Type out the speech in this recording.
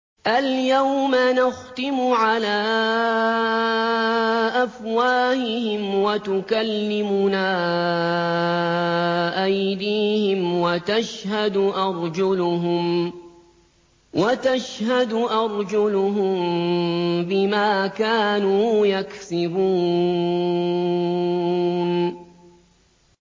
الْيَوْمَ نَخْتِمُ عَلَىٰ أَفْوَاهِهِمْ وَتُكَلِّمُنَا أَيْدِيهِمْ وَتَشْهَدُ أَرْجُلُهُم بِمَا كَانُوا يَكْسِبُونَ